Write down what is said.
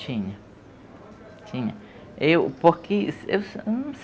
Tinha, tinha eu por que